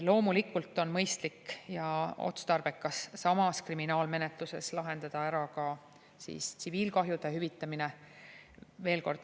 Loomulikult on mõistlik ja otstarbekas samas kriminaalmenetluses lahendada ära ka tsiviilkahjude hüvitamine.